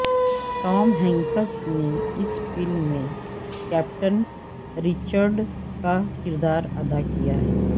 Tom Hanks نے اس film میں کیپٹن رچرڈ کا کردار ادا کیا ہے